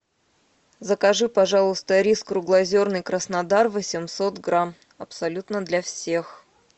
закажи пожалуйста рис круглозерный краснодар восемьсот грамм абсолютно для всех